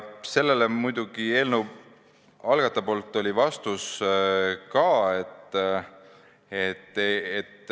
Eelnõu algatajal oli sellele muidugi ka vastus.